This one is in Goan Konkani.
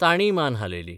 तांणीय मान हालयली.